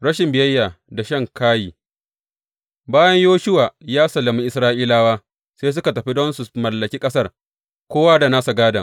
Rashin biyayya da shan kayi Bayan Yoshuwa ya sallami Isra’ilawa, sai suka tafi don su mallaki ƙasar, kowa da nasa gādon.